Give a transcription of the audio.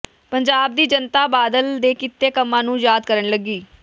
ਪੰਜਾਬ ਦੀ ਜਨਤਾ ਬਾਦਲ ਦੇ ਕੀਤੇ ਕੰਮਾਂ ਨੂੰ ਯਾਦ ਕਰਨ ਲੱਗੀ